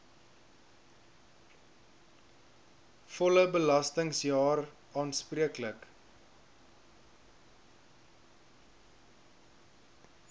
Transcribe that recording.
volle belastingjaar aanspreeklik